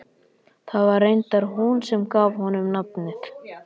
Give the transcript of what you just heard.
Það var reyndar hún sem gaf honum nafnið.